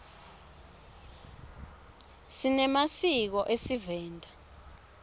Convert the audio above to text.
sinemasiko esivenda